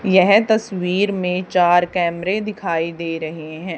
यह तस्वीर में चार कैमरे दिखाई दे रहे हैं।